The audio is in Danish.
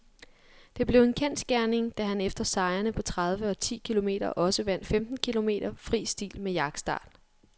Det blev en kendsgerning, da han efter sejrene på tredive og ti kilometer også vandt femten kilometer fri stil med jagtstart.